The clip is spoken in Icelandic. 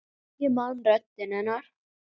Ég man röddina hennar.